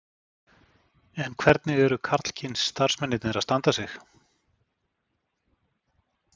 En hvernig eru karlkyns starfsmennirnir að standa sig?